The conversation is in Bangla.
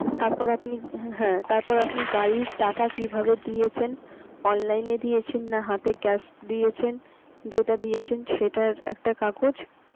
তারপর আপনি হ্যা তারপর আপনি গাড়ির টাকা কিভাবে দিয়েছেন online এ দিয়েছেন না হাতে cash দিয়েছেন যেটা দিয়েছেন সেটার একটা কাগজ.